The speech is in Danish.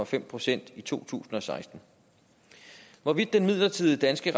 fem procent i to tusind og seksten hvorvidt den midlertidige danske